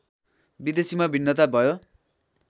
विदेशीमा भिन्नता भयो